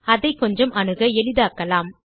அதை கொஞ்சம் அணுக எளிதாக்கலாம்